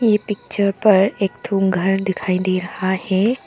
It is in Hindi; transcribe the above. ये पिक्चर पर एक ठो घर दिखाई दे रहा है।